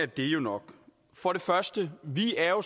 det jo nok vi er jo